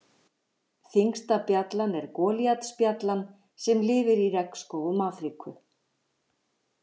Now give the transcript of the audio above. Þyngsta bjallan er golíatsbjallan, sem lifir í regnskógum Afríku.